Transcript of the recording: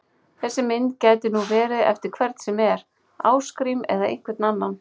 Þessi mynd gæti nú verið eftir hvern sem er, Ásgrím eða einhvern annan!